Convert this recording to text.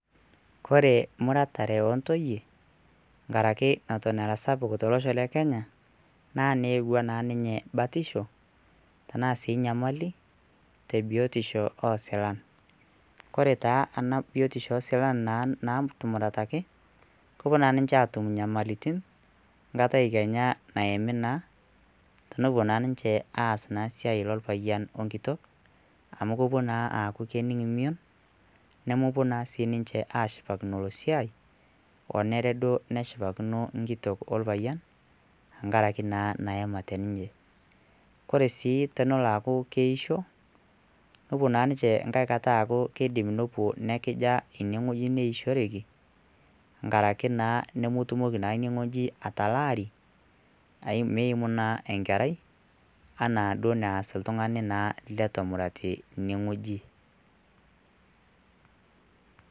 kore muratare ontoyie nkaraki noton ara sapuk tolosho le kenya naa neyewua naa ninye batisho tenaa sii nyamali tebiotisho osilan kore taa ena biotisho osilan naa, natumurataki kopuo naa ninche atum inyamalitin nkatai kenya nayami naa tenopuo naa ninche aas naa siai lolpayian onkitok amu kopuo naa aaku kening mion nemopuo naa sii ninche ashipakino ilo siai onere duo neshipakino nkitok olpayian enkarake naa nayamate ninye kore tonolo aaku keisho nopuo naa ninche nkae kata aaku kidim nopuo nekija ineng'ueji nkaraki naa nemotumoki naa ine ng'ueji atalaari meimu naa enkerai anaa duo naas iltung'ani naa letu emurati ineng'ueji.